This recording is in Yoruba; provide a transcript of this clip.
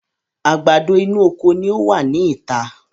Àgbàdo inú oko ni ọ wá ní ìta